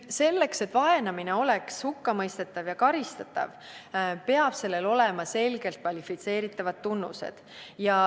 " Selleks, et vaenamine oleks hukkamõistetav ja karistatav, peavad sellel olema selgelt kvalifitseeritavad tunnused.